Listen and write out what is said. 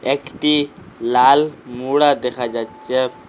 একটি লাল মোড়া দেখা যাচ্চে ।